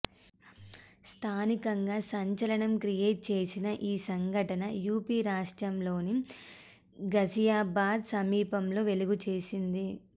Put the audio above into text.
స్థానికంగా సంచలనం క్రియేట్ చేసిన ఈ సంఘటన యూపీ రాష్ట్రంలోని ఘజియాబాద్ సమీపంలో వెలుగుచేసింది